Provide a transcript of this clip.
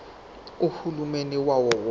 uhulumeni wawo wonke